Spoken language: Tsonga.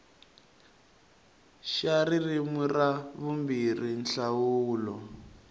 xa ririmi ra vumbirhi nhlawulo